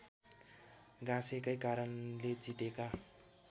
गाँसेकै कारणले जितेका